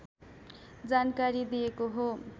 जानकारी दिएको हो